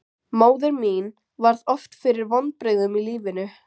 Móðir mín varð oft fyrir vonbrigðum í lífinu.